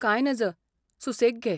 कांय नज, सुसेग घे.